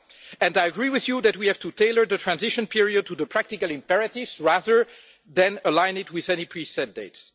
And I agree with you that we have to tailor the transition period to the practical imperatives, rather than align it with any pre set dates.